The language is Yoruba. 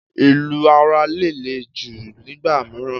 Ìlù ara lè le jù nígbà mìíràn.